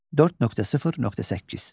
4.0.8.